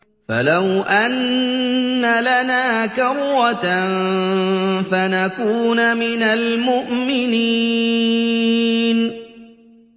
فَلَوْ أَنَّ لَنَا كَرَّةً فَنَكُونَ مِنَ الْمُؤْمِنِينَ